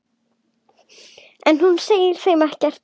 En hún segir þeim ekkert.